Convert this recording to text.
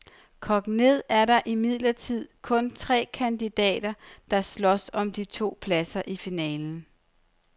Kogt ned er der imidlertid kun tre kandidater, der slås om de to pladser i finalen.